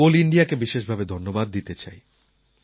আমি কোল ইণ্ডিয়াকে বিশেষ ভাবে ধন্যবাদ দিতে চাই